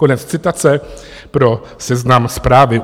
Konec citace pro Seznam Zprávy.